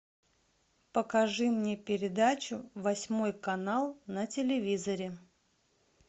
покажи мне передачу восьмой канал на телевизоре